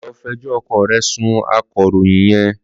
Lọ fi ẹjọ́ ọkọ rẹ sun akọ̀ròyìn yẹn.